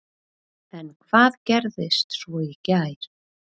En hvað gerist svo í gær?